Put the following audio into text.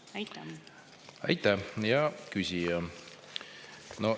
Aitäh, hea küsija!